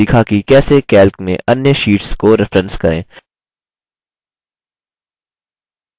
संक्षेप में हमने सीखा कि कैसे: